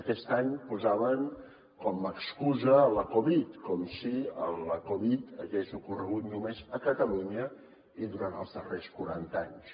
aquest any posaven com a excusa la covid dinou com si la covid dinou hagués ocorregut només a catalunya i durant els darrers quaranta anys